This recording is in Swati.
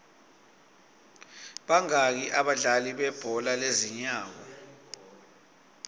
bangaki abadlali bebhola lezinyawo